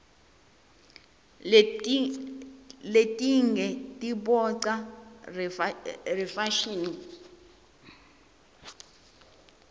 letinge tiboncsa reyefashini